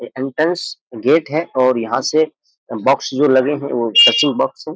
Entrance gate है और यहाँ से बॉक्स जो लगे हैं वो सर्चिंग बॉक्स है।